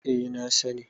eh na sani